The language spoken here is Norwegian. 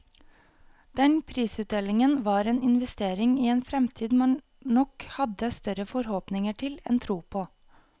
Den prisutdelingen var en investering i en fremtid man nok hadde større forhåpninger til enn tro på.